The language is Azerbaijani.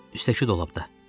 Üstəki dolabda.